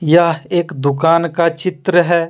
यह एक दुकान का चित्र है।